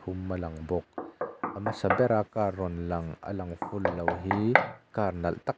hum a lang bawk a hmasa bera car rawn lang a lang full lo hi car nalh tak--